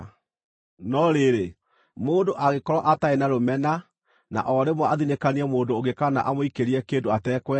“ ‘No rĩrĩ, mũndũ angĩkorwo atarĩ na rũmena, na o rĩmwe athinĩkanie mũndũ ũngĩ kana amũikĩrie kĩndũ atekwenda,